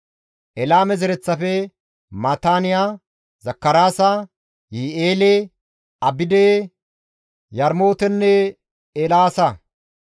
Elaame zereththafe, Maataaniya, Zakaraasa, Yihi7eele, Abide, Yarmootenne Eelaasa;